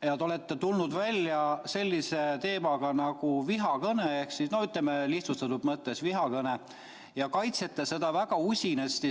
Te olete tulnud välja sellise teemaga nagu vihakõne – ütleme, lihtsustatud mõttes vihakõne – ja kaitsete seda väga usinasti